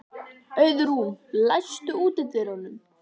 Auðrún, læstu útidyrunum.